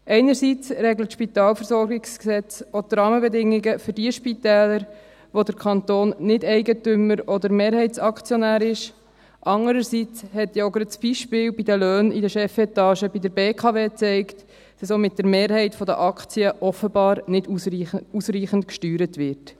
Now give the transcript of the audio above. Einerseits regelt das SpVG auch die Rahmenbedingungen für jene Spitäler, bei welchen der Kanton nicht Eigentümer oder Mehrheitsaktionär ist, andererseits hat gerade das Beispiel der Löhne in der Chefetage der BKW gezeigt, dass auch mit der Mehrheit der Aktien offenbar nicht ausreichend gesteuert wird.